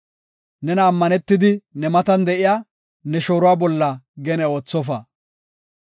Nena ammanetidi, ne matan de7iya, ne shooruwa bolla gene oothofa.